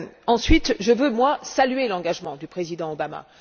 Ensuite, je veux saluer l'engagement du président Obama.